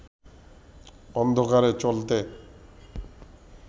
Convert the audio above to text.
অন্ধকারে চলতে